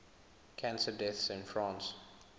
cancer deaths in france